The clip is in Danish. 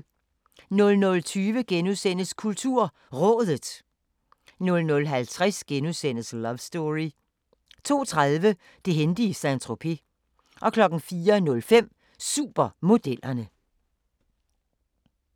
00:20: KulturRådet * 00:50: Love Story * 02:30: Det hændte i Saint-Tropez 04:05: Supermodellerne